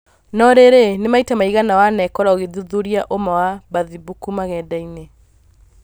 Norĩrĩ nĩ maita maigana wanekora ũgĩthuthuria ũma wa bathimbuku magenda-inĩ